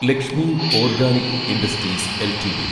Lakshmi organic industries LTD